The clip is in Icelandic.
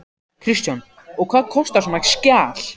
Kristján: Og hvað kostar svona skjal?